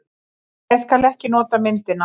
Ég skal ekki nota myndina.